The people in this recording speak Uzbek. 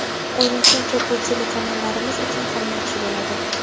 O‘ylashimcha, bu telekanallarimiz uchun ham yaxshi bo‘ladi.